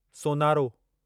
सोनारो